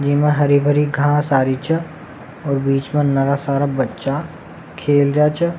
ई में हरी भरी घास आरी छ और बिच में नरा सारा बच्चा खेल रहा छ।